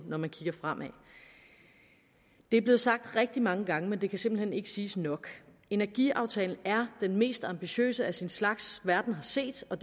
når man kigger fremad det er blevet sagt rigtig mange gange men det kan simpelt hen ikke siges nok energiaftalen er den mest ambitiøse af sin slags verden har set og